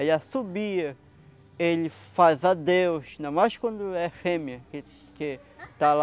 Ele assobia, ele faz adeus, ainda mais quando é fêmea, que que está lá